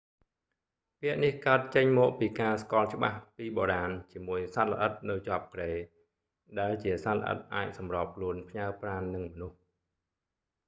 ពាក្យនេះកើតចេញមកពីការស្គាល់ច្បាស់ពីបុរាណជាមួយសត្វល្អិតនៅជាប់គ្រែ ដែលជាសត្វល្អិតអាចសម្របខ្លួនផ្ញើប្រាណនឹងមនុស្ស